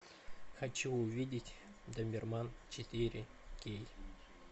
хочу увидеть доберман четыре кей